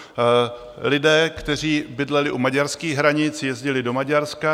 Lidé, kteří bydleli u maďarských hranic, jezdili do Maďarska.